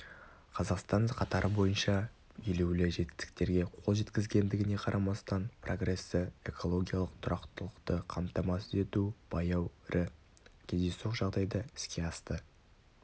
қазақстан қатары бойынша елеулі жетістіктерге қол жеткізгендігіне қарамастан прогрессі экологиялық тұрақтылықты қамтамасыз ету баяу рі кездейсоқ жағдайда іске асты